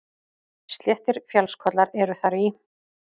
Sléttir fjallskollar eru þar í